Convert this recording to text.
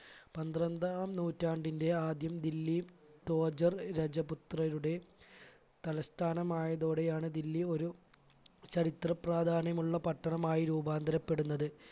പന്ത്രണ്ടാം നൂറ്റാണ്ടിന്റെ ആദ്യം ദില്ലി തോജർ രജപുത്രരുടെ തലസ്ഥാനമായതോടെയാണ് ദില്ലി ഒരു ചരിത്ര പ്രാധാന്യമുള്ള പട്ടണമായി രൂപാന്തരപ്പെടുന്നത്.